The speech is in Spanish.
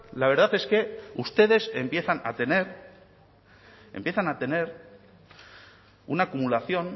la verdad es que ustedes empiezan a tener empiezan a tener una acumulación